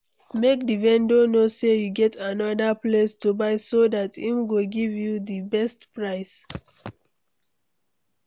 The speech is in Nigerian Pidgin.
Make di vendor know sey you get anoda place to buy so dat im go give you di best price